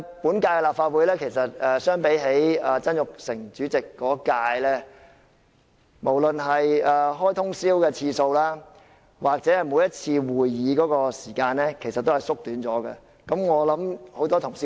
本屆立法會相比曾鈺成主席那一屆，無論是通宵舉行會議的次數或每次會議的時間，其實都有所減少。